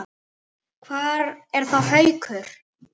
Hvar er þá Haukur?